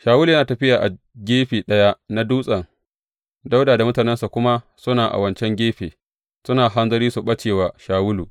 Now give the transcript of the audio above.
Shawulu yana tafiya a gefe ɗaya na dutsen, Dawuda da mutanensa kuma suna a wancan gefe, suna hanzari su ɓace wa Shawulu.